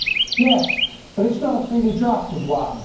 Yes, but not a freely drafted one.